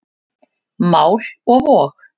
Mál og vog.